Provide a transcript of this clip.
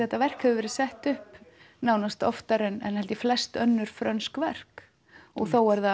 þetta verk hefur verið sett upp nánast oftar en flest önnur frönsk verk og þó er það